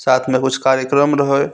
साथ में कुछ कार्यक्रम रहे --